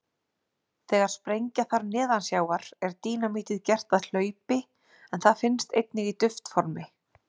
Þegar sprengja þarf neðansjávar er dínamítið gert að hlaupi en það finnst einnig í duftformi.